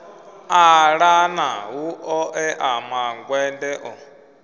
ṱalana hu ṱoḓea mangwende o